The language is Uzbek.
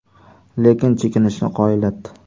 Lekin chekinishni qoyillatdi.